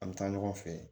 An bɛ taa ɲɔgɔn fɛ